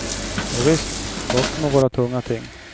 Jovisst, böcker må vara tunga ting.